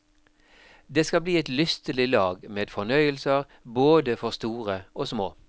Det skal bli et lystelig lag med fornøyelser både for store og små.